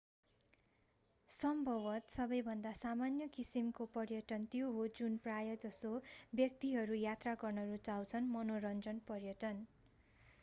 सम्भवतः सबैभन्दा सामान्य किसिमको पर्यटन त्यो हो जुन प्रायः जसो व्यक्तिहरू यात्रा गर्न रुचाउँछन्ः मनोरञ्जन पर्यटन